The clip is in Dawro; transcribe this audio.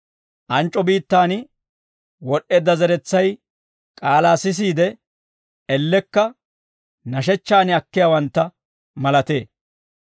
Anc'c'o biittaan wod'd'eedda zeretsay k'aalaa sisiide, ellekka nashechchaan akkiyaawantta malatee.